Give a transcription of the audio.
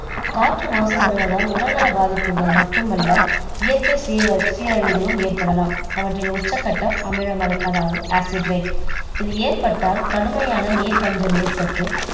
காற்று மாசு படுவதால் உடல்நல பாதிப்புகள் மட்டுமல்ல இயற்கை சீழ~சீரழிவுகளும் ஏற்படலாம் அவற்றின் உச்சக்கட்டம் அமில மழை அதாவது acid rain இது ஏற்பட்டால் கடுமையான நீர் பஞ்சம் ஏற்பட்டு